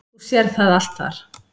Þú sérð það allt þar.